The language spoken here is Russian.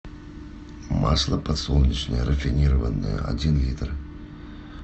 масло подсолнечное рафинированное один литр